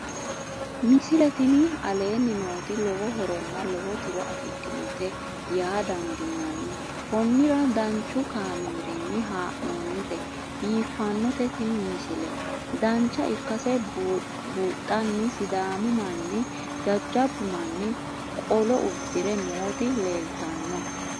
misile tini aleenni nooti lowo horonna lowo tiro afidhinote yaa dandiinanni konnira danchu kaameerinni haa'noonnite biiffannote tini misile dancha ikkase buunxanni sidaamu manni jajjabbu manni qolo uddire nooti leeltanno